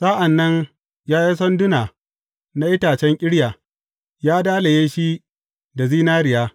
Sa’an nan ya yi sanduna na itacen ƙirya, ya dalaye shi da zinariya.